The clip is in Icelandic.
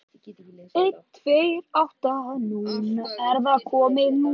Guðrún húsfreyja stóð þar í fjörunni, en þangað hafði hún ekki komið í langan tíma.